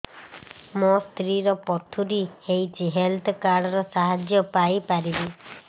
ମୋ ସ୍ତ୍ରୀ ର ପଥୁରୀ ହେଇଚି ହେଲ୍ଥ କାର୍ଡ ର ସାହାଯ୍ୟ ପାଇପାରିବି